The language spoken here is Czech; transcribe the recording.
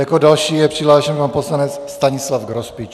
Jako další je přihlášen pan poslanec Stanislav Grospič.